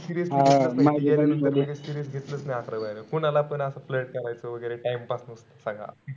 serious घेतलाच नाई. serious-serious घेतलाच नाईअकरावी बारावीत. कोणालापण असं flirt करायचो वगेरे time pass म्हणून सगळा.